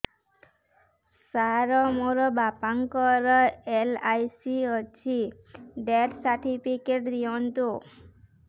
ସାର ମୋର ବାପା ଙ୍କର ଏଲ.ଆଇ.ସି ଅଛି ଡେଥ ସର୍ଟିଫିକେଟ ଦିଅନ୍ତୁ